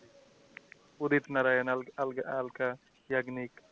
Udit Narayan Alka ইয়ানি,